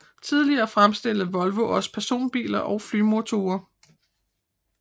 Tidligere fremstillede Volvo også personbiler og flymotorer